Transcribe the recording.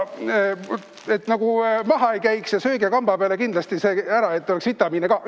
Et te nagu maha ei käiks, sööge see kamba peale kindlasti ära, et oleks vitamiine ka.